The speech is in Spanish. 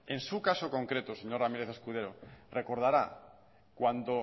en su caso concreto señor ramírez escudero recordará cuando